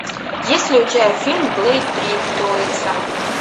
есть ли у тебя фильм блэйд три троица